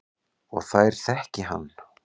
Og þær þekki hann.